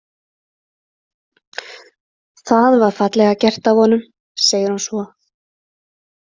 Það var fallega gert af honum, segir hún svo.